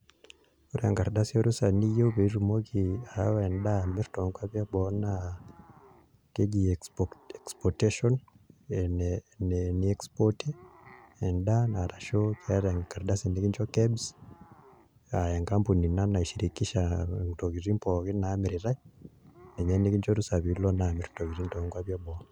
Ore enkardasi orusa niyieu pee itumoki aawa endaa amirr too nkwapi e boo na keji exportation ninye iexportie endaa naa arashu keeta enkardasi nikinjo KEMS aa enkampuni ina naishirikisha intokitin pooki naamiritae ninye nekinjo orusa pii ilo amirr intokitin too nkwapi e boo